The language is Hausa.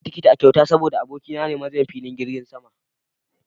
Na samu tikiti a kyauta saboda abokina ne manajan filin jirgin saman